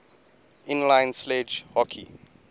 inline sledge hockey